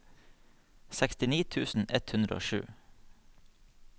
sekstini tusen ett hundre og sju